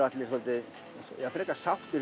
allir frekar sáttir